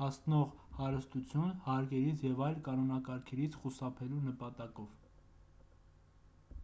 հասնող հարստություն հարկերից և այլ կանոնակարգերից խուսափելու նպատակով